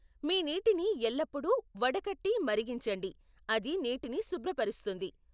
మీ నీటిని ఎల్లప్పుడూ వడకట్టి మరిగించండి, అది నీటిని శుభ్రపరుస్తుంది.